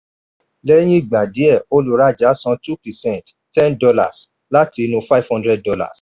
lẹ́yìn ìgbà díẹ̀ olùrájà san two percent ten dollars láti inú five hundred dollars